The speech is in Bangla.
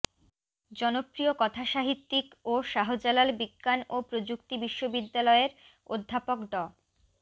জনপ্রিয় কথাসাহিত্যিক ও শাহজালাল বিজ্ঞান ও প্রযুক্তি বিশ্ববিদ্যালয়ের অধ্যাপক ড